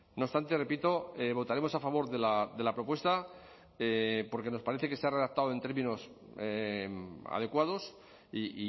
no obstante repito votaremos a favor de la propuesta porque nos parece que se ha redactado en términos adecuados y